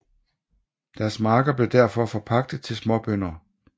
Deres marker blev derfor forpagtet til småbønder